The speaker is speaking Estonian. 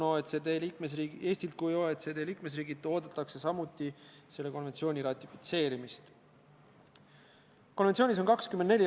Hea küll, eestlane võib-olla helistab sõbrale, aga seljakotiga välismaalane?